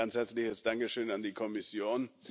Ein ganz herzliches Dankeschön an die Kommission.